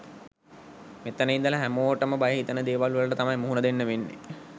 මෙතන ඉදලා හැමෝටම බය හිතෙන දේවල් වලට තමයි මුහුණ දෙන්න වෙන්නෙ.